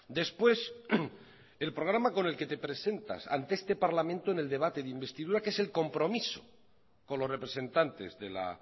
después el programa con el que te presentas ante este parlamento en el debate de investidura que es el compromiso con los representantes de la